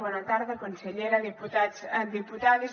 bona tarda consellera diputats diputades